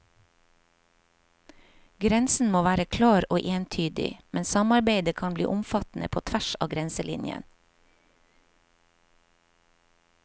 Grensen må være klar og entydig, men samarbeidet kan bli omfattende på tvers av grenselinjen.